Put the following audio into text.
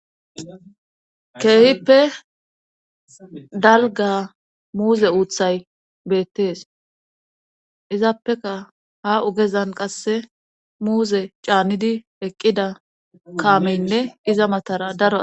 keehippe dalga muuze uuthay beettees izaappeka ha ugezan qasse muuze caannidi eqqida kaameynne iza matara daro